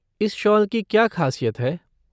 इस शॉल की क्या ख़ासियत है।